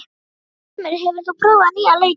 Ormur, hefur þú prófað nýja leikinn?